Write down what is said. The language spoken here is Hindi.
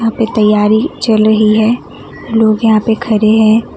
यहां पे तैयारी चल रही है लोग यहां पे खड़े है।